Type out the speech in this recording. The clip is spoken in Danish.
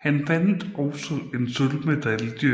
Han vandt også en sølvmedalje